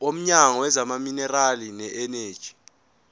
womnyango wezamaminerali neeneji